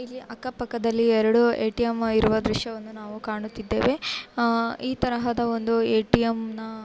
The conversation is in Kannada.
ಇಲ್ಲಿ ಯಾಕ ಪಕ್ಕದಲ್ಲಿ ಎರಡು ಎ ಟಿ ಎಂ ಇರುವ ದೃಶ್ಯವನ್ನು ನಾವು ಕಾಣುತ್ತಿದ್ದೇವೆ ಆ ಈ ತರದ ಒಂದು ಎ ಟಿ ಎಂನ --